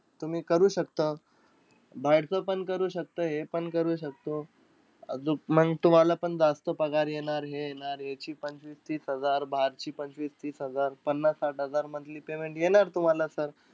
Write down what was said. तुम्ही करू शकता. बाहेरचं पण करू शकता हे पण कर शकतो. आजूक, म्हणजे तुम्हालापण जास्त पगार येणार, हे येणार. याची पंचवीस-तीस हजार, बाहेरची पंचवीस-तीस हजार. पन्नास-साठ हजार monthly payment येणार तुम्हाला sir.